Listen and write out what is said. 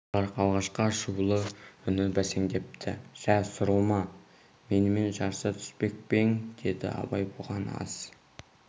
бірақ алғашқы ашулы үні бәсеңдепті жә сурылма менімен жарыса түспек пе ең деді абай бұған аз